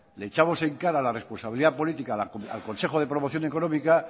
le echamos en cara la responsabilidad política al consejo de promoción económica